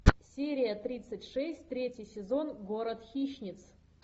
серия тридцать шесть третий сезон город хищниц